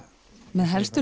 með